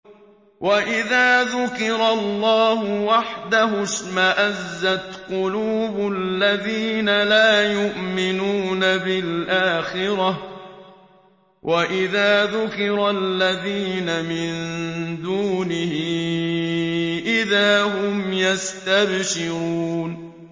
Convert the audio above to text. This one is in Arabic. وَإِذَا ذُكِرَ اللَّهُ وَحْدَهُ اشْمَأَزَّتْ قُلُوبُ الَّذِينَ لَا يُؤْمِنُونَ بِالْآخِرَةِ ۖ وَإِذَا ذُكِرَ الَّذِينَ مِن دُونِهِ إِذَا هُمْ يَسْتَبْشِرُونَ